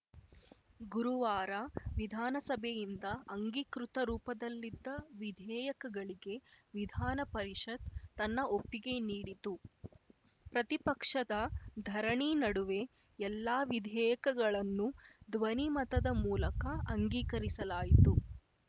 ಗುರುವಾರ ವಿಧಾನಸಭೆಯಿಂದ ಅಂಗೀಕೃತ ರೂಪದಲ್ಲಿದ್ದ ವಿಧೇಯಕಗಳಿಗೆ ವಿಧಾನಪರಿಷತ್‌ ತನ್ನ ಒಪ್ಪಿಗೆ ನೀಡಿತು ಪ್ರತಿಪಕ್ಷದ ಧರಣಿ ನಡುವೆ ಎಲ್ಲಾ ವಿಧೇಯಕಗಳನ್ನು ಧ್ವನಿ ಮತದ ಮೂಲಕ ಅಂಗೀಕರಿಸಲಾಯಿತು